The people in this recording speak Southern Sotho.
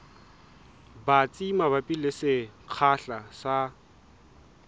batsi mabapi le sekgahla sa